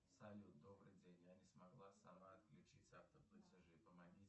салют добрый день я не смогла сама отключить автоплатежи помоги